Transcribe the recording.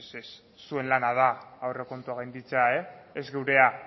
ez ez ez zuen lana da aurrekontuak gainditzea ez geurea